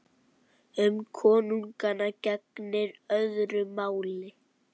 Um konunga gegnir öðru máli.